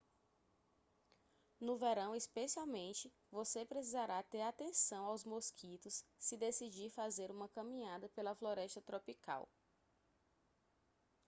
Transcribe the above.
no verão especialmente você precisará ter atenção aos mosquitos se decidir fazer uma caminhada pela floresta tropical